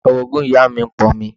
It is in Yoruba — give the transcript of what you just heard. Orogún ìyá mi ń pọn omi